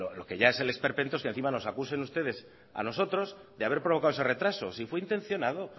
lo que ya es el esperpento es que encima nos acusen ustedes a nosotros de haber provocado ese retraso si fue intencionado